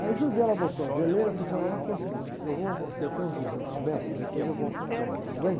Aí, ajudei, ela botou a veleira, eu falei o negócio é o seguinte, eu vou com você até uns duzentos metros, depois eu volto nadando, tudo bem?